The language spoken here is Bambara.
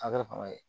A kɛra fanga ye